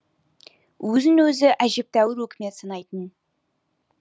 өзін өзі әжептәуір өкімет санайтын